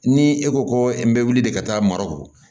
Ni e ko ko n bɛ wuli de ka taa marɔku